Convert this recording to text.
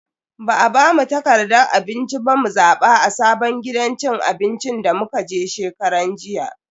Ba a bamu takardan abinci ba mu zaba a sabon gidan cin abinci da muka je shekaran jiya.